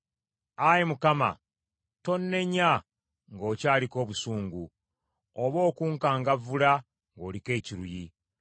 Ayi Mukama tonnenya ng’okyaliko obusungu, oba okunkangavvula ng’oliko ekiruyi.